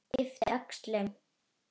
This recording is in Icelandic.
Yppti öxlum.